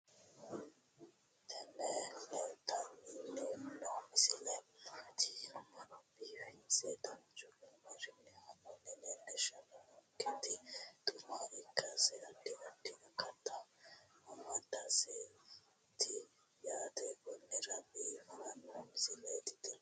tini leeltanni noo misile maaati yiniro biifinse danchu kaamerinni haa'noonnita leellishshanni nonketi xuma ikkase addi addi akata amadaseeti yaate konnira biiffanno misileeti tini